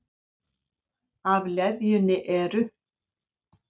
Af leðjunni eru